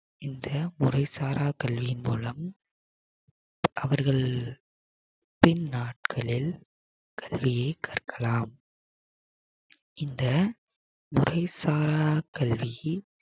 இந்த முறை சாரா கல்வியின் மூலம் அவர்கள் பின் நாட்களில் கல்வியை கற்கலாம் இந்த முறைசாரா கல்வி